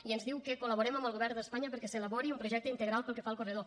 i ens diu que col·laborem amb el govern d’espanya perquè s’elabori un projecte integral pel que fa al corredor